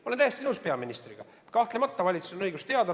Ma olen täiesti nõus peaministriga: kahtlemata valitsusel on õigus teada.